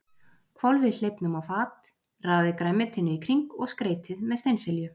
Hvolfið hleifnum á fat, raðið grænmetinu í kring og skreytið með steinselju.